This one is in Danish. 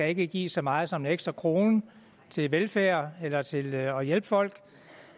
ikke gives så meget som en ekstra krone til velfærd eller til at hjælpe folk